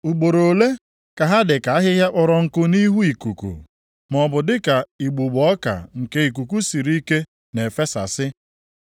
Ugboro ole ka ha dịka ahịhịa kpọrọ nkụ nʼihu ikuku, maọbụ dịka igbugbo ọka nke ikuku siri ike na-efesasị?